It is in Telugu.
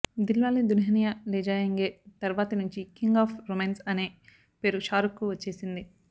దిల్ వాలే దునియా లేజాయేంగే తర్వాతి నుంచి కింగ్ ఆఫ్ రొమాన్స్ అనే పేరు షారుఖ్ కు వచ్చేసింది